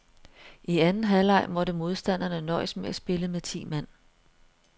I anden halvleg måtte modstanderne nøjes med at spille med ti mand.